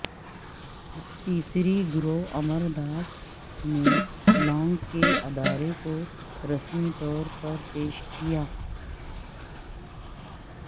تیسری گرو امر داس نے لانگ کے ادارے کو رسمی طور پر پیش کیا